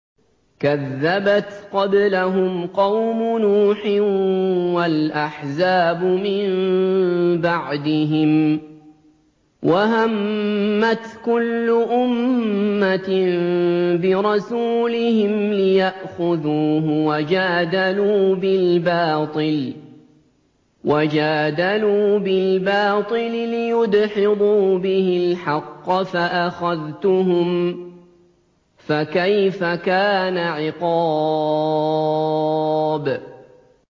كَذَّبَتْ قَبْلَهُمْ قَوْمُ نُوحٍ وَالْأَحْزَابُ مِن بَعْدِهِمْ ۖ وَهَمَّتْ كُلُّ أُمَّةٍ بِرَسُولِهِمْ لِيَأْخُذُوهُ ۖ وَجَادَلُوا بِالْبَاطِلِ لِيُدْحِضُوا بِهِ الْحَقَّ فَأَخَذْتُهُمْ ۖ فَكَيْفَ كَانَ عِقَابِ